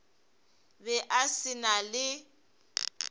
be a se na le